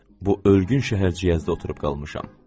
Bu ölgün şəhərciyəzdə oturub qalmışam.